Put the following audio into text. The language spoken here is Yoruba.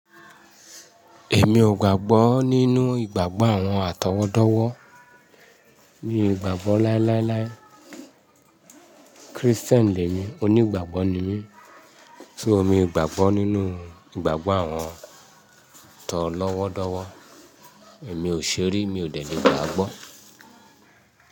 Èmi ò gbàgbọ́ nínú ìgbàgbọ́ àwọn àtọwọ́dọ́wọ́. Mi o ìgbàgbọ́ láíláíláí Kristẹni lemi, onígbàgbọ́ ni mí. So mi gbàgbọ́ nínú ìgbàgbọ́ àwọn tọ lọ́wọ́dọ́wọ́. Èmi ò ṣeri, mi ò tẹ̀lẹ́ gbàgbọ́